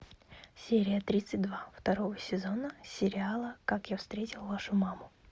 серия тридцать два второго сезона сериала как я встретил вашу маму